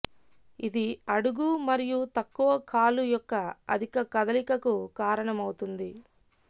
ఇది అడుగు మరియు తక్కువ కాలు యొక్క అధిక కదలికకు కారణమవుతుంది